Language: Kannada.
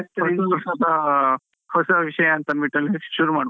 ಹೊಸ ವರ್ಷದ, ಹೊಸ ವಿಷಯ ಅಂತ ಅನ್ಬಿಟ್ಟು ಶುರು ಮಾಡ್ಬೋದು.